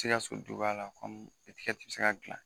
Te ka son o cogoya la kɔmi etikɛti bɛ se ka dilan.